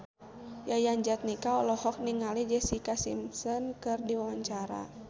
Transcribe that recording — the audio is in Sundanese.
Yayan Jatnika olohok ningali Jessica Simpson keur diwawancara